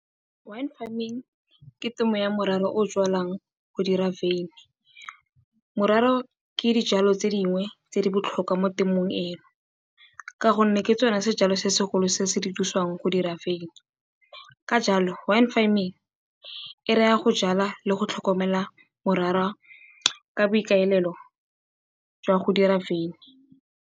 Wine farming ke temo ya morara o o jwalwang go dira wyn-e. Morara ke dijwalo tse dingwe tse di botlhokwa mo temong eno ka gonne ke tsone sejalo se se golo se se dirisiwang go dira wyn-e. Ka jalo wine farming e raya go jwala le go tlhokomela morara ka boikaelelo jwa go dira wyn-e.